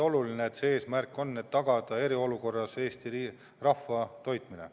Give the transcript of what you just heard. Oluline eesmärk ongi tagada ka eriolukorras Eesti rahva toitmine.